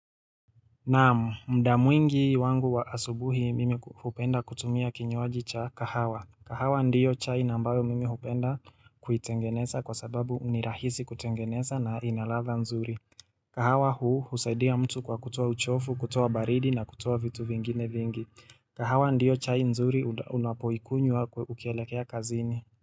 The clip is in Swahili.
Naam muda mwingi wangu wa asubuhi mimi hupenda kutumia kinywaji cha kahawa. Kahawa ndio chai na ambayo mimi hupenda kuitengeneza kwa sababu ni rahisi kutengeneza na ina ladha nzuri. Kahawa huu husaidia mtu kwa kutoa uchovu, kutoa baridi na kutoa vitu vingine vingi. Kahawa ndiyo chai nzuri unapoikunywa ukielekea kazini.